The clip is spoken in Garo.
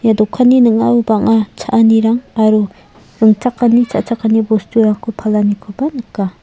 ia dokanni ning·ao bang·a cha·anirang aro ringchakani cha·chakani bosturangko palanikoba nika.